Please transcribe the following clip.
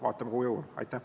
Vaatame, kuhu jõuame.